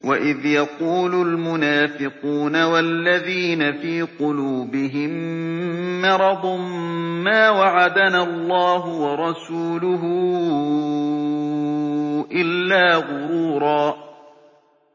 وَإِذْ يَقُولُ الْمُنَافِقُونَ وَالَّذِينَ فِي قُلُوبِهِم مَّرَضٌ مَّا وَعَدَنَا اللَّهُ وَرَسُولُهُ إِلَّا غُرُورًا